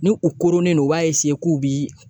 Ni u koronnen don, u b'a k'u bi